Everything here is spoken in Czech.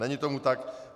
Není tomu tak.